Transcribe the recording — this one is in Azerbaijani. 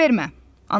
Fikir vermə.